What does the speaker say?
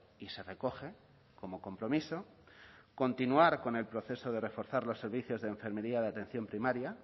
y se recoge como compromiso continuar con el proceso de reforzar los servicios de enfermería de atención primaria